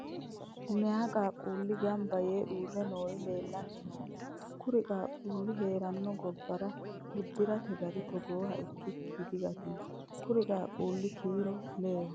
Meyaa qaaqqulli gamba yee uurre noori leellanni nooe? Kuri qaaqqullu heerano gobbara uddirate gari togooha ikkikki digantino. Kuri qaaqqulli kiiro leeho.